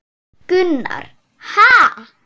Gunnar: Ha!